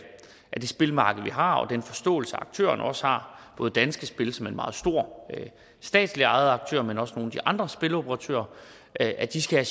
det spilmarked vi har og den forståelse aktørerne også har både danske spil som en meget stor statslig ejet aktør men også nogle af de andre spiloperatører at at de skal